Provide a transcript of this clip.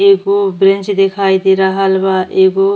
एगो बेंच दिखाई दे रहल बा। एगो --